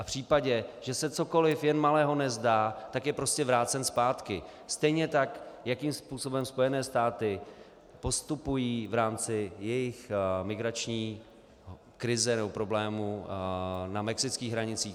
A v případě, že se cokoliv jen malého nezdá, tak je prostě vrácen zpátky stejně tak, jakým způsobem Spojené státy postupují v rámci jejich migrační krize nebo problémů na mexických hranicích.